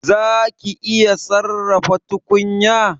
Zaki iya sarrafa tukunya?